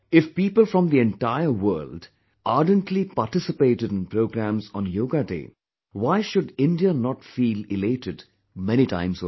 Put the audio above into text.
If people from the entire world ardently participated in programmes on Yoga Day, why should India not feel elated many times over